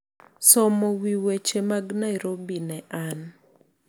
somo wi weche mag Nairobi ne an